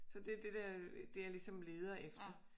Så det er det dér det jeg ligesom leder efter